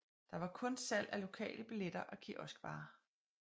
Der var kun salg af lokale billetter og kioskvarer